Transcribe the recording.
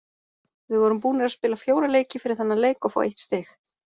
Við vorum búnir að spila fjóra leiki fyrir þennan leik og fá eitt stig,